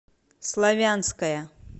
славянская